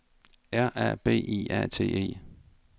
R A B I A T E